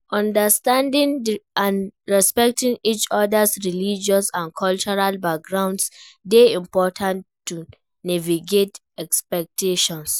Understanding and respecting each other's religious and cultural backgrounds dey important to navigate expectations.